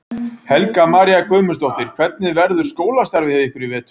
Helga María Guðmundsdóttir: Hvernig verður skólastarfið hjá ykkur í vetur?